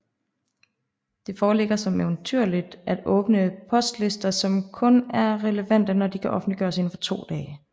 Det foreligger som entydigt at åbne postlister kun er relevante når de kan offentliggøres indenfor 2 dage